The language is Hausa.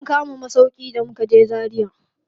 Mun kama masauƙi da mukaje Zaria.